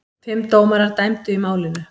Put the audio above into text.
Fimm dómarar dæmdu í málinu.